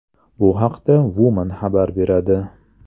Bu haqda Woman xabar beradi .